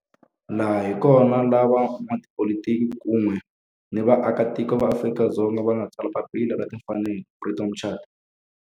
Laha hi kona la van'watipolitiki kun'we ni vaaka tiko va Afrika-Dzonga va nga tsala papila ra timfanelo, Freedom Charter.